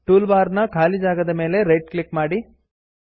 tool bar ನ ಖಾಲಿ ಜಾಗದ ಮೇಲೆ ರೈಟ್ ಕ್ಲಿಕ್ ಮಾಡಿ